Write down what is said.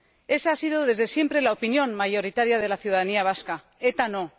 Esa ha sido desde siempre la opinión mayoritaria de la ciudadanía vasca ETA, no.